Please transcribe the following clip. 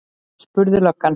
spurði löggan.